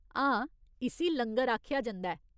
हां, इस्सी लंगर आखेआ जंदा ऐ।